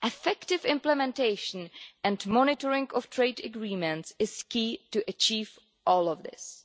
Effective implementation and monitoring of trade agreements is key to achieving all of this